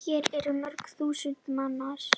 Hér eru mörg þúsund manns.